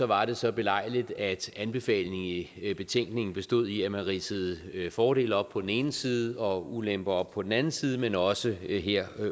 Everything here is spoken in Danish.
var det så belejligt at anbefalingen i i betænkningen bestod i at man ridsede fordele op på den ene side og ulemper op på den anden side men også her